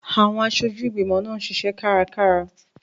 Àwọn aṣojú ìgbìmọ̀ náà ń ṣiṣẹ́ kárakára.